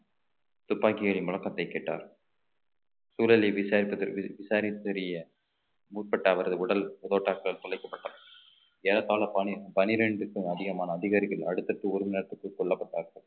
துப்பாக்கி ஏரி முழக்கத்தை கேட்டார் சூழலை விசாரிப்பதற்கு விசாரித்து வரிய முற்பட்ட அவரது உடல் தோட்டாக்கால் துளைக்கப்பட்டது ஏறத்தாழ பானை பனிரெண்டுக்கும் அதிகமான அதிகாரிகள் அடுத்தடுத்து ஒரு மணி நேரத்துக்குள் கொல்லப்பட்டார்கள்